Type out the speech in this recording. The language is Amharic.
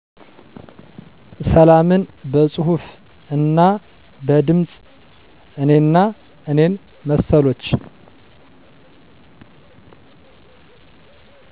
ሰላምን በፁሁፍ እና በድምፅ እኔና እኔን መሰሎች